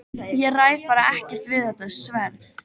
Ég ræð bara ekkert við þetta sverð!